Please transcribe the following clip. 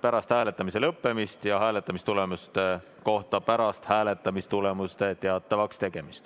pärast hääletamise lõppemist ja hääletamistulemuste kohta pärast hääletamistulemuste teatavaks tegemist.